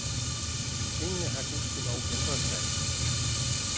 Tingene har gudskelov ændret sig.